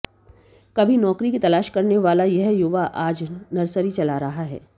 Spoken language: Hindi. कभी नौकरी की तलाश करने वाला यह युवा आज नर्सरी चला रहा है